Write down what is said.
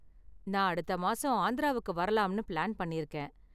நான் அடுத்த மாசம் ஆந்திராவுக்கு வரலாம்னு பிளான் பண்ணிருக்கேன்.